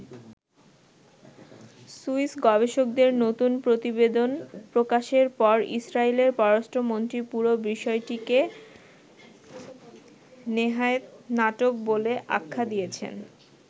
Swiss গবেষকদের নতুন প্রতিবেদন প্রকাশের পর ইসরাইলের পররাষ্ট্রমন্ত্রী পুরো বিষয়টিকে নেহায়েত নাটক বলে আখ্যা দিয়েছেন।